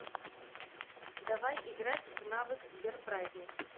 давай играть в навык сбер праздник